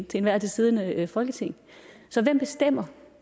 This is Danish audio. til enhver tid siddende folketing så hvem bestemmer